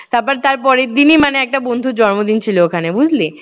তারপর তার পরের দিনই মানে একটা বন্ধুর জন্মদিন ছিল ওখানে বুঝলি?